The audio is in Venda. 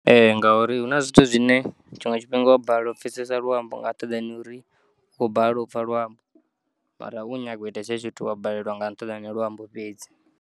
Ee ngauri huna zwithi zwine tshiṅwe tshifhinga wabalelwa upfesesa luambo wo bala upfa luambo wari u kho nyaga uita hezwo zwithu wa balelwa nga nṱhani ha luambo fhedzi.